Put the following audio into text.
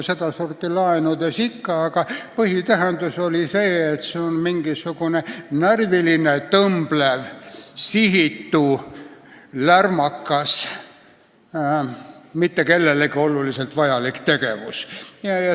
Selle sõna tähendus on "närviline, tõmblev, sihitu, lärmakas, mitte kellelegi oluliselt vajalik tegevus".